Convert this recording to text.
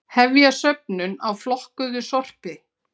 Hefja söfnun á flokkuðu sorpi